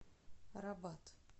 рабат